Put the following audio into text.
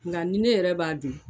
Nka ni ne yɛrɛ b'a dun